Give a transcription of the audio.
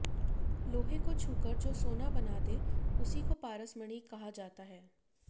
लोहे को छू कर जो सोना बना दे उसी को पारसमणि कहां जाता है